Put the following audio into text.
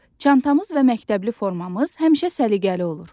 Çantamız və məktəbli formamız həmişə səliqəli olur.